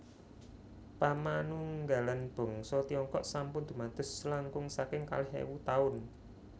Pamanunggalan bangsa Tiongkok sampun dumados langkung saking kalih éwu taun